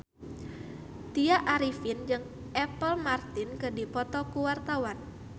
Tya Arifin jeung Apple Martin keur dipoto ku wartawan